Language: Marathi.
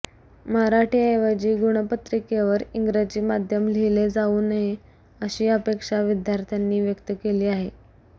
मराठीऐवजी गुणपत्रिकेवर इंग्रजी माध्यम लिहिले जाऊ नये अशी अपेक्षा विद्यार्थ्यांनी व्यक्त केली आहे